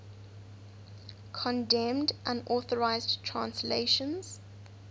condemned unauthorized translations